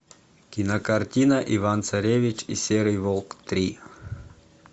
кинокартина иван царевич и серый волк три